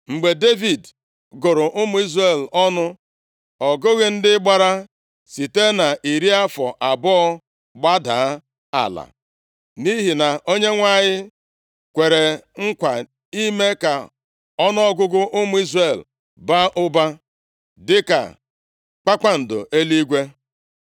Mgbe Devid gụrụ ụmụ Izrel ọnụ. Ọ gụghị ndị gbara site nʼiri afọ abụọ gbadaa ala, nʼihi na Onyenwe anyị kwere nkwa ime ka ọnụọgụgụ ụmụ Izrel baa ụba dịka kpakpando eluigwe.